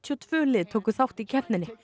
og tvö lið tóku þátt í keppninni